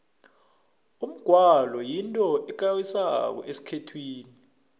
umgwalo yinto ekarisako esikhethwini